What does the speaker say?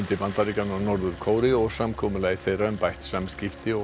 Bandaríkjanna og Norður Kóreu og samkomulagi þeirra um bætt samskipti og